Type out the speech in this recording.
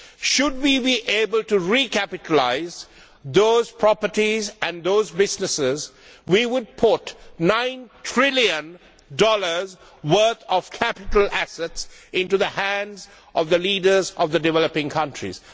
Should we be able to recapitalise those properties and those businesses, we would put nine trillion dollars' worth of capital assets into the hands of the leaders of the developing countries.